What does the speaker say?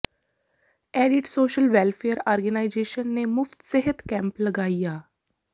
edit social welfare organisation ਨੇ ਮੁਫ਼ਤ ਸਿਹਤ ਜਾਂਚ ਕੈਂਪ ਲਗਾਇਆ